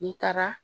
N'i taara